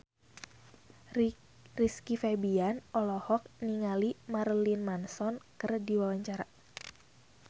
Rizky Febian olohok ningali Marilyn Manson keur diwawancara